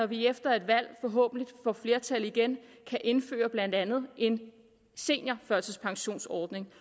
vi efter et valg forhåbentlig får flertal igen kan indføre blandt andet en seniorførtidspensionsordning